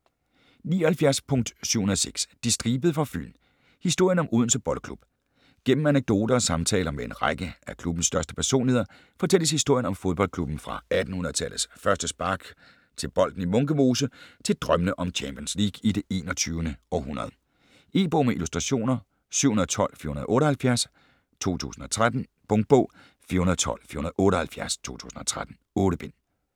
79.706 De Stribede fra Fyn: historien om Odense Boldklub Gennem anekdoter og samtaler med en række af klubbens største personligheder fortælles historien om fodboldklubben fra 1800-tallets første spark til bolden i Munke Mose til drømmene om Champions League i det 21. århundrede. E-bog med illustrationer 712478 2013. Punktbog 412478 2013. 8 bind.